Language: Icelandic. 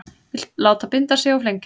Vill láta binda sig og flengja